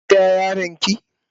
Kin biya Yaran ki?.